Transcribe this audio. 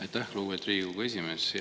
Aitäh, lugupeetud Riigikogu esimees!